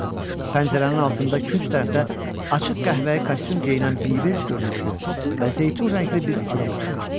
Pəncərənin altında künc tərəfdə açıq qəhvəyi kostyum geyinən bic görünüşlü və zeytun rəngli bir adam oturmuşdu.